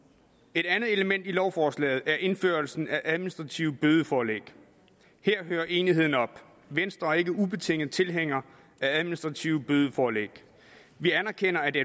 et andet element i lovforslaget er indførelsen af administrative bødeforlæg her hører enigheden op venstre er ikke ubetinget tilhængere af administrative bødeforlæg vi anerkender at det